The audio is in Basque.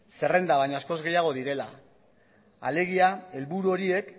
zerrenda baino askoz gehiago direla alegia helburu horiek